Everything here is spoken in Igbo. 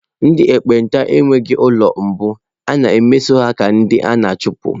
Ndị ekpenta enweghị ụlọ mbụ, a na-emeso ha dị ka ndị a na-achụpụ.